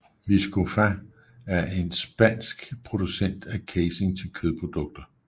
Viscofan er en spansk producent af casing til kødprodukter